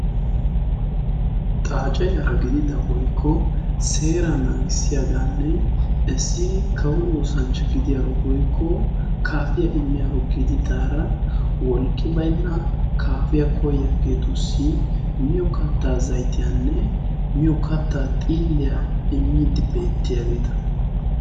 xaace yaara gidida woikko seera naagissiyaagaanne essi kawo oosanchcha gidiyaaro woikko kaafiya immiyaaro gidi daara wolqqi bainna kaafiyaa koyaageetussi miyo kattaa zaitiyaanne miyo kattaa xiilliyaa immiidi beettiyaageeta